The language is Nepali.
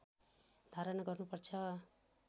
धारण गर्नुपर्छ